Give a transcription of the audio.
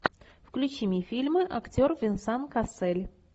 включи мне фильмы актер венсан кассель